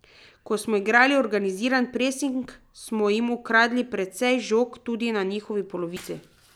Ko smo igrali organiziran presing, smo jim ukradli precej žog tudi na njihovi polovici.